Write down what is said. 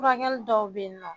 Furakɛli dɔw bɛ yen nɔ